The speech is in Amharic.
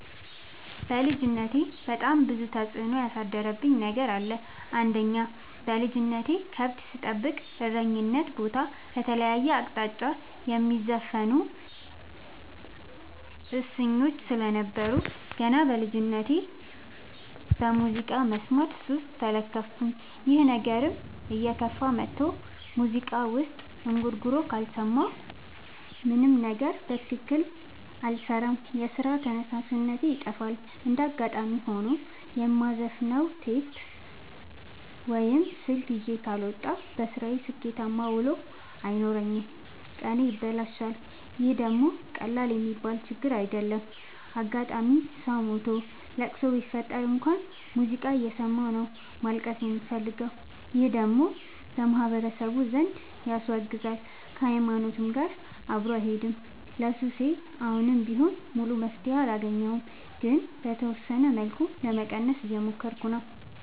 በልጅነቴ በጣም ብዙ ተጽዕኖ ያሳደረብኝ ነገር አለ። አንደኛ በልጅነቴ ከብት ስጠብቅ እረኝነት ቦታ ከተለያየ አቅጣጫ የሚዘፍኑ እሰኞች ስለነበሩ። ገና በልጅነቴ በሙዚቃ መስማት ሱስ ተለከፍኩኝ ይህ ነገርም እየከፋ መጥቶ ሙዚቃ ወይም እንጉርጉሮ ካልሰማሁ ምንም ነገር በትክክል አልሰራም የስራ ተነሳሽነቴ ይጠፋል። እንደጋጣሚ ሆኖ የማዘፍ ነው ቴፕ ወይም ስልክ ይዤ ካልወጣሁ። በስራዬ ስኬታማ ውሎ አይኖረኝም ቀኔ ይበላሻል ይህ ደግሞ ቀላል የሚባል ችግር አይደለም። አጋጣም ሰው ሞቶ ለቅሶ ቢፈጠር እንኳን ሙዚቃ እየሰማሁ ነው ማልቀስ የምፈልገው ይህ ደግሞ በማህበረሰቡ ዘንድ ያስወግዛል። ከሀይማኖቴም ጋር አብሮ አይሄድም። ለሱሴ አሁንም ቢሆን ሙሉ መፍትሔ አላገኘሁም ግን በተወሰነ መልኩ ለመቀነስ እየሞከርኩ ነው።